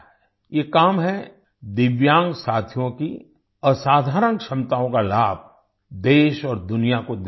ये काम है दिव्यांग साथियों की असाधारण क्षमताओं का लाभ देश और दुनिया को दिलाना